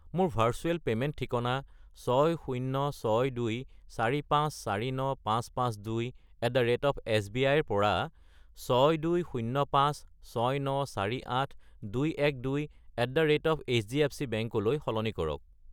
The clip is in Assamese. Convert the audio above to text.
মোৰ ভাৰ্চুৱেল পে'মেণ্ট ঠিকনা 6062,4549552@sbi -ৰ পৰা 6205,6948,212@hdfcbank -লৈ সলনি কৰক।